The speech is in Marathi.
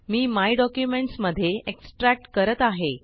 मी माय डॉक्युमेंट्स मध्ये एक्सट्रॅक्ट करत आहे